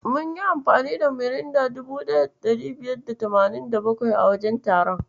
Mun yi amfani da Miranda 1587 a wajen taron.